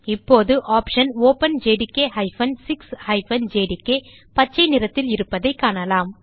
இப்போது option openjdk 6 JDK பச்சை நிறத்தில் இருப்பதைக் காணலாம்